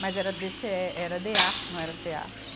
Mas era DêcêÉ, era DêA, não era CêA.